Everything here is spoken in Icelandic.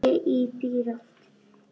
Þig sagði konan.